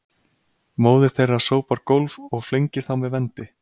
Móðir þeirra sópar gólf og flengir þá með vendi